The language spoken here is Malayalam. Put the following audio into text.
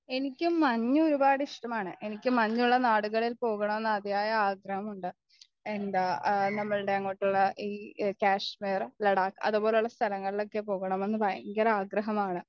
എനിക്കും മഞ് ഒരുപാട് ഇഷ്ടമാണ് എനിക്ക് മഞ്ഞുള്ള നാടുകളിൽ പോകണമെന്ന് അതിയായ ആഗ്രഹമുണ്ട് എന്താ ആ നമ്മൾടെ അങ്ങോട്ടുള്ള ഈ കാശ്മീർ ലഡാക് അതുപോലെയുള്ള സ്ഥാലങ്ങളിലൊക്കെ പോകണമെന്ന് ഭയങ്കര ആഗ്രഹമാണ്